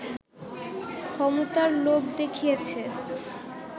ক্ষমতার লোভ দেখিয়েছে